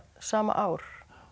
sama ár